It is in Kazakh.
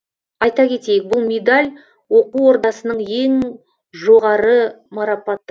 айта кетейік бұл медаль оқу ордасының ең жоғары марапаты